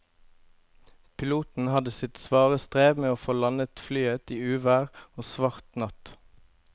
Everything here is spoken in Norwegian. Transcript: Piloten hadde sitt svare strev med å få landet flyet i uvær og svart natt.